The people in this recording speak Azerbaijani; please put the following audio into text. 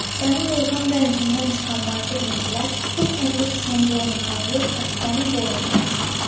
Sənin ilham bənzindən çıxan nadir incilər bir kəndli qızının boynundan yox, Qətibənin boynundan asılsın.